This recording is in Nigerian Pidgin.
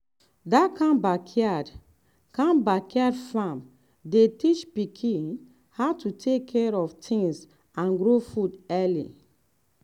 that kind backyard kind backyard farm dey teach pikin how to take care of things and grow food early.